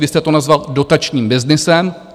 Vy jste to nazval dotačním byznysem.